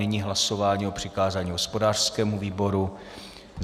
Nyní hlasování o přikázání hospodářskému výboru.